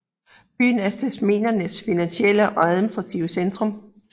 Byen er Tasmaniens finansielle og administrative centrum